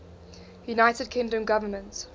united kingdom government